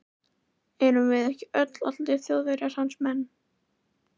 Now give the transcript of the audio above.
Erum við ekki öll, allir Þjóðverjar, hans menn.